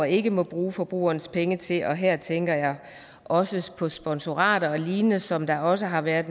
ikke må bruge forbrugernes penge til og her tænker også på sponsorater og lignende som der også har været